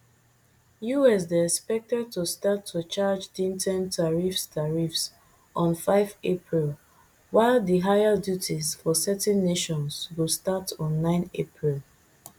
us dey expected to start to charge din ten tariffs tariffs on five april while di higher duties for certain nations go start on nine april